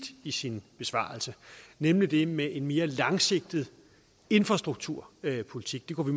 i sin besvarelse nemlig det med en mere langsigtet infrastrukturpolitik det kunne